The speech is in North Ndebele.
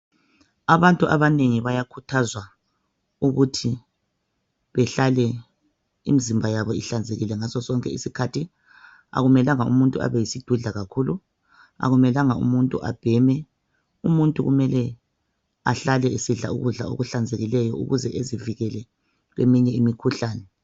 Abantu abanengi bayakhuthazwa ukuthi behlale imzimba yabo ihlanzekile ngasosonke iskhathi , akumelanga ukuthi umuntu abe yisidudla kakhulu , akumelanga ukuthi umuntu abheme , umuntu kumele ahlale esidla ukudla okuhlanzekileyo ukuze ezivikele kwesinye imkhuhlane